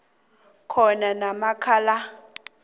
khona namkha la